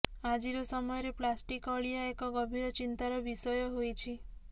ଆଜିର ସମୟରେ ପ୍ଳାଷ୍ଟିକ ଅଳିଆ ଏକ ଗଭୀର ଚିନ୍ତାର ବିଷୟ ହୋଇଛି